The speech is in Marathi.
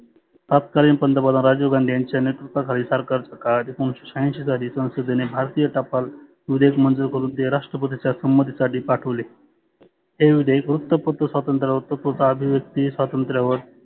तातकालीन पंतप्रधान राजीव गांधी यांच्या नेतृत्वा खाली सरकारच्या काळात एकोनीशे शहाऐंशी साली संसदेने भारतीय टपाल विधेयक मंजुर करुण ते राष्ट्रपतीच्या सम्मती साठी पाठवले. ते विधेयक वृत्तपत्र स्वातंतत्र्यावर तसच आधीव्यक्ती स्वातंत्रावर